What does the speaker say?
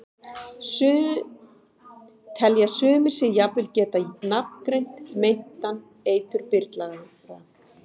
Telja sumir sig jafnvel geta nafngreint meintan eiturbyrlara.